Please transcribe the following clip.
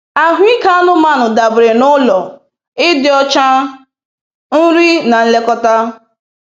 Ahụike anụmanụ dabere n'ụlọ, ịdị ọcha, nri na nlekọta.